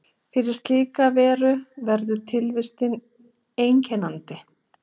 Fyrir slíka veru verður tilvistin einkennandi.